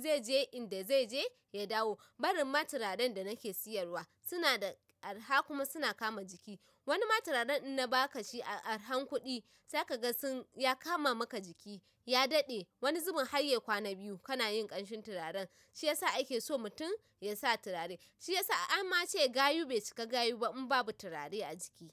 zai je inda zai je ya dawo. Barinma turaren da nake siyarwa suna da arha kuma suna kama jiki. Wani ma turaren in na baka shi a arhan kuɗi, zaka ga sun ya kama maka jiki, ya daɗe. Wani zubin har ya kwana biyu kana yin ƙanshin turaren. Shi yasa ake so mutum ya sa turare. Shi yasa an ma ce gayu bai cika gayu ba in babu turare a jiki.